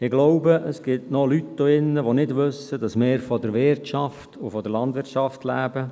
Ich glaube, es gibt noch Leute hier drin, die nicht wissen, dass wir von der Wirtschaft und der Landwirtschaft leben.